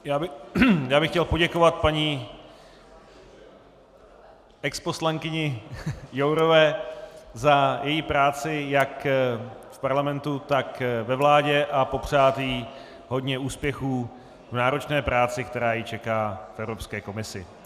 Já bych chtěl poděkovat paní exposlankyni Jourové za její práci jak v parlamentu, tak ve vládě a popřát jí hodně úspěchů v náročné práci, která ji čeká v Evropské komisi.